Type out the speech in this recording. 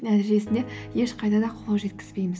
нәтижесінде ешқайда да қол жеткізбейміз